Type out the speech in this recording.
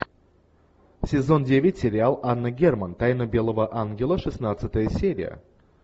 сезон девять сериал анна герман тайна белого ангела шестнадцатая серия